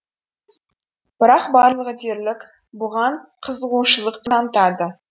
бірақ барлығы дерлік бұған қызығушылық танытады